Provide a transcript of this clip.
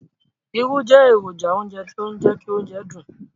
Irú jẹ èrònjà ounjẹ ti o jẹ ki óunjẹ dùn